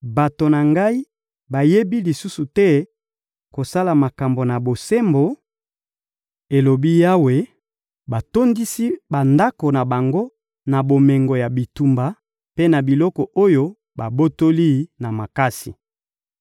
Bato na Ngai bayebi lisusu te kosala makambo na bosembo,› elobi Yawe, ‹batondisi bandako na bango na bomengo ya bitumba mpe na biloko oyo babotoli na makasi.›»